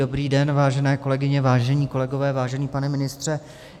Dobrý den, vážené kolegyně, vážení kolegové, vážený pane ministře.